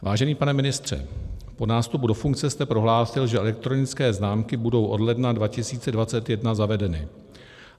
Vážený pane ministře, po nástupu do funkce jste prohlásil, že elektronické známky budou od ledna 2021 zavedeny.